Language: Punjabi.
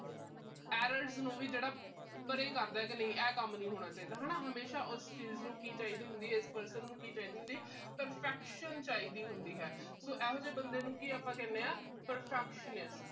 errors ਨੂੰ ਪਰੇ ਕਰਦਾ ਕਿ ਇਹ ਕੰਮ ਨੀ ਹੋਣਾ ਚਾਹੀਦਾ ਹਨਾ। ਹਮੇਸ਼ਾ ਉਸ ਚੀਜ ਨੂੰ ਕੀ ਚਾਹੀਦੀ ਹੁੰਦੀ ਆ, ਇਸ person ਨੂੰ ਕੀ ਚਾਹੀਦੀ ਹੁੰਦੀ ਏ perfection ਨੂੰ ਚਾਹੀਦੀ ਹੁੰਦੀ ਆ so ਤੇ ਇਹੋ ਜੇ ਬੰਦੇ ਨੂੰ ਆਪਾ ਕੀ ਕਹਿੰਦੇ ਆ perfectionist